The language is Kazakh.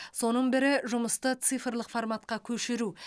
соның бірі жұмысты цифрлық форматқа көшіру